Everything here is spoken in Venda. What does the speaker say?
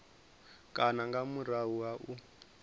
kana nga murahu ha u